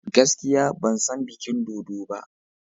Gaskiya! Ban san bikin dodo ba.